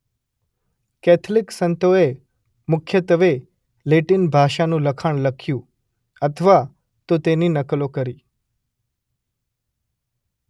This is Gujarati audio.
કેથલિક સંતોએ મુખ્યત્વે લેટિન ભાષાનું લખાણ લખ્યું અથવા તો તેની નકલો કરી.